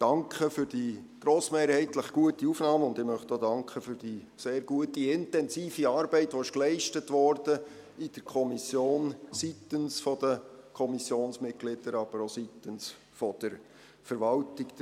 Danke für die grossmehrheitlich gute Aufnahme, und ich möchte auch für die sehr gute, intensive Arbeit danken, die in der Kommission seitens der Kommissionsmitglieder, aber auch seitens der Verwaltung geleistet wurde.